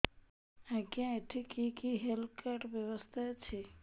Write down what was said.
ଆଜ୍ଞା ଏଠି କି କି ହେଲ୍ଥ କାର୍ଡ ବ୍ୟବସ୍ଥା ଅଛି